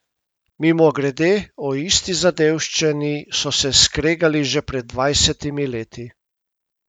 Mimogrede, o isti zadevščini so se skregali že pred dvajsetimi leti.